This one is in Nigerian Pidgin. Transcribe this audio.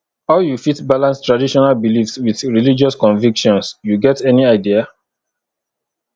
how you fit balance traditional beliefs with religious convictions you get any idea